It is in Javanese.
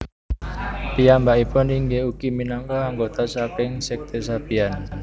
Piyambakipun inggih ugi minangka anggota saking sekte Sabian